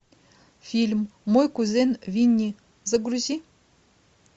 фильм мой кузен винни загрузи